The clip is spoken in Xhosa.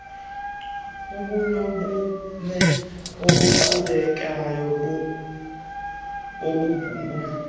ubunobume obuqhubekayo bobumbacu